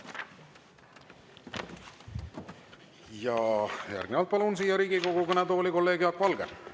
Ja järgnevalt palun siia Riigikogu kõnetooli kolleeg Jaak Valge.